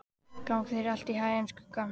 Gangi þér allt í haginn, Skugga.